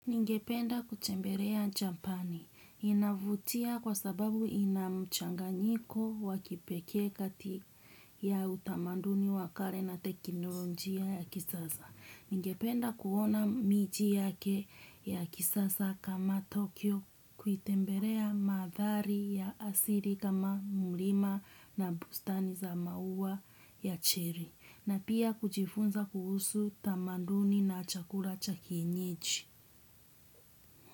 Ningependa kutembelea japani, inavutia kwasababu ina mchanganyiko wa kipekee kati ya utamanduni wa kale na teknolojia ya kisasa. Ningependa kuona miji yake ya kisasa kama Tokyo, kuitembelea mandhari ya asili kama mlima na bustani za maua ya cherry. Na pia kujifunza kuhusu tamaduni na chakula cha kienyeji.